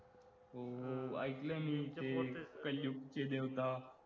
हो हो ऐकलंय मी ते कलयुग चे देवता